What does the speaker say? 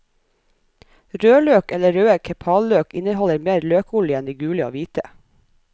Rødløk eller røde kepaløk inneholder mer løkolje enn de gule og hvite.